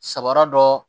Sabara dɔ